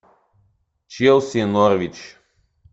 челси норвич